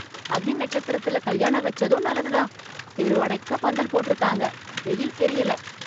அக்னி நட்சத்திரல கல்யாண வச்சதும் நல்லது தான், தெரு அடைக்க பந்தல் போட்ருக்காங்க, வெயில் தெரியல.